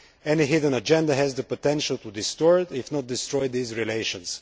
Any hidden agenda has the potential to distort, if not destroy, these relations.